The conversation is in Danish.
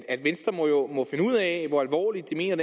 at venstre må finde ud af hvor alvorligt de mener